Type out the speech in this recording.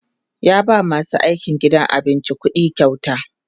ya ba masu aikin gidan abincin ƙuɗikyauta